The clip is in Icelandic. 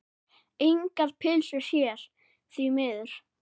Engar pylsur hér, því miður.